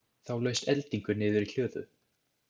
Þá laust eldingu niður í hlöðu.